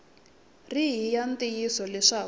ri hi ya ntiyiso leswaku